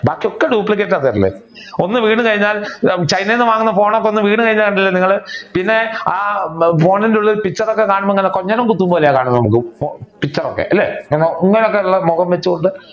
ബാക്കി ഒക്കെ duplicate ആണ് തരല്. ഒന്ന് വീണു കഴിഞ്ഞാൽ ചൈനയിൽ നിന്ന് വാങ്ങുന്ന ഫോണൊക്കെ ഒന്ന് വീണു കഴിഞ്ഞാൽ ഉണ്ടല്ലോ നിങ്ങൾ പിന്നെ ആ ഫോണിന്റെ ഉള്ളിൽ picture ഒക്കെ കാണുബോൾ ഇങ്ങനെ കൊഞ്ഞ നം കുത്തുന്നത് പോലെയേ കാണൂ കാരണം